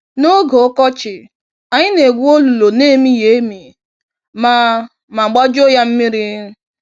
n'oge ọkọchị, anyị na-egwu olulu n'emighị-emi ma ma gbajuo yá mmiri.